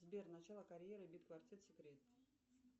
сбер начало карьеры бит квартет секрет